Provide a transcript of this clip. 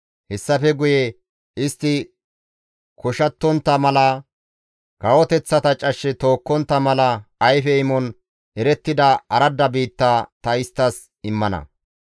Hessafe guye istti koshattontta mala, kawoteththata cashshe tookkontta mala ayfe imon erettida aradda biitta ta isttas immana.